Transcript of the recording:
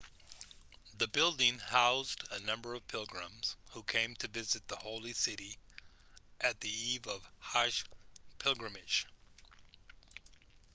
the building housed a number of pilgrims who came to visit the holy city at the eve of hajj pilgrimage